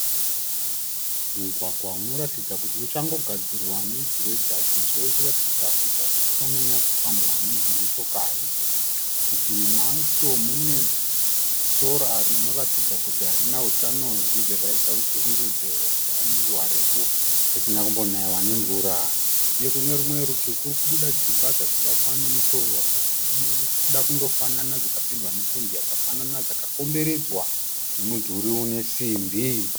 Mugwagwa unoratidza kuti uchangogadzirwa negiredha sezvo uchiratidza kuti hausati wanyanyo fambwa nedzimotokari . Murutivi macho mune sora rinoratidza kuti harina utano . zvichibva zvaita kuti tifungidzire kuti rava nenguva refu risina kumbonaiwa nemvura . Uye kune rumwe rutivi kukubuda dzimba dzakavakwa nemutoo wakasi wakada kunofanana dzakapendwa nependi yakafanana. Dzakakomberedzwa nemudhuri unesimbi .